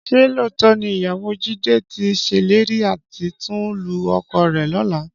Ṣé lóòótọ́ ni ìyàwó Jídé tí ṣèlérí láti tún lu ọkọ rẹ lọ́la?